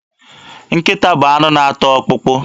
Nkịta bụ anụ na-ata ọkpụkpụ.